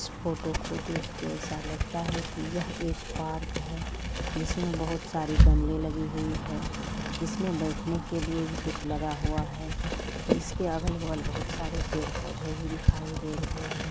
इस फोटो को देखकर ऐसा लगता है कि यह एक पार्क है जिसमें बहुत सारी गमले लगी हुई है जिसमें बैठने के लिए भी कुछ लगा हुआ है जिसके अगल-बगल बहुत सारे पेड़ पौधे भी दिखाई दे रहे हैं।